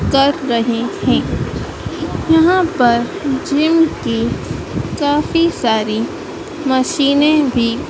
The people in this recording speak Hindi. कर रहे है यहां पर जिम की काफी सारी मशीनें भी--